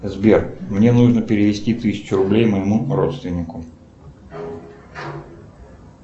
сбер мне нужно перевести тысячу рублей моему родственнику